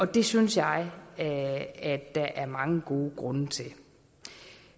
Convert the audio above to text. det synes jeg at at der er mange gode grunde til